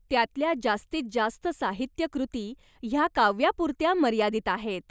त्यातल्या जास्तीत जास्त साहित्यकृती ह्या काव्यापुरत्या मर्यादित आहेत.